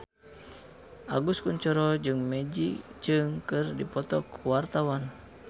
Agus Kuncoro jeung Maggie Cheung keur dipoto ku wartawan